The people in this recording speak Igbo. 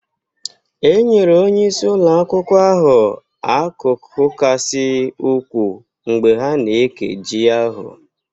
E nyere onye isi ụlọ akwụkwọ ahụ akụkụ kasị ukwuu mgbe ha na-eke ji ahụ